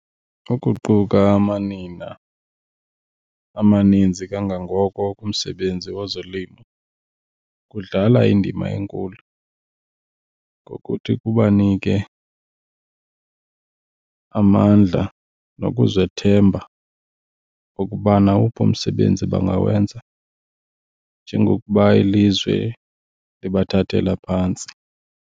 Ukuquka amanina amaninzi kangangoko kumsebenzi wezolimo kudlala indima enkulu ngokuthi kubanike amandla nokuzithemba okuba nawuphi umsebenzi bangawenza njengokuba ilizwe libathathela phantsi.